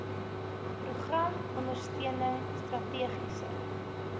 program ondersteuning strategiese